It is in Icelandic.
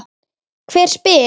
Hver spyr?